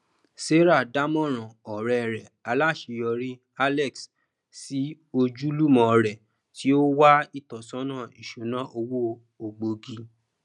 sarah dámọràn ọrẹ rẹ aláṣeyọrí alex sí ojúlùmọ rẹ tí ó wá ìtọsọnà ìṣúnná owó ògbógi